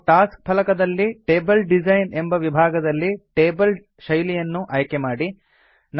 ಮತ್ತು ಟಾಸ್ಕ್ ಫಲಕದಲ್ಲಿ table design ಎಂಬ ವಿಭಾಗದಲ್ಲಿ ಟೇಬಲ್ ಶೈಲಿಯನ್ನು ಆಯ್ಕೆ ಮಾಡಿ